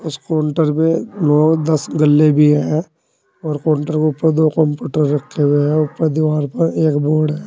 इस काउंटर पे नौ दस गल्ले भी है और काउंटर के ऊपर दो कंप्यूटर रखे हुए हैं ऊपर दीवार पर एक बोर्ड है।